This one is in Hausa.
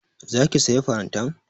Za ki sayi farantan?